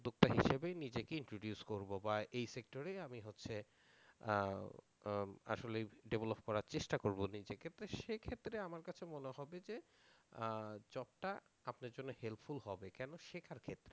সেই হিসেবে নিজেকে introduce করবো বা এই sector এ আমি হচ্ছে আসলে develop করার চেষ্টা করবো নিজেকে তো সেক্ষেত্রে আমার কাছে মনে হবে যে job টা আপনার জন্য helpful হবে কেনো শেখার ক্ষেত্রে।